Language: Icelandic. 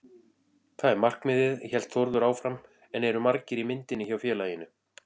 Það er markmiðið, hélt Þórður áfram en eru margir í myndinni hjá félaginu?